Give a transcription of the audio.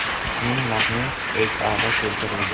Uning matni O‘zAda keltirildi .